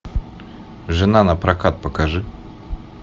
жена напрокат покажи